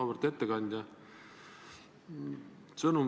Auväärt ettekandja!